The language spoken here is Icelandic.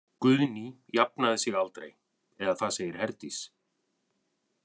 Guðný jafnaði sig aldrei eða það segir Herdís.